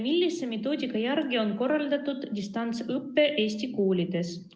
Millise metoodika järgi on korraldatud distantsõpe Eesti koolides?